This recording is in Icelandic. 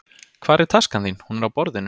Hvar er taskan þín? Hún er á borðinu.